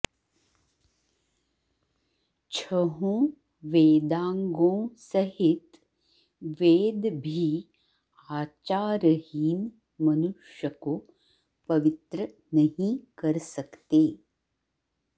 छहों वेदांगों सहित वेद भी आचारहीन मनुष्य को पवित्र नहीं कर सकते